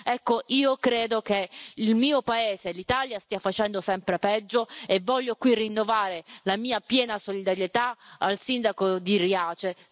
Ecco, io credo che il mio paese, l'Italia, stia facendo sempre peggio e voglio qui rinnovare la mia piena solidarietà al sindaco di Riace.